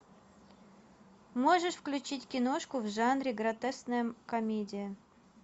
можешь включить киношку в жанре гротескная комедия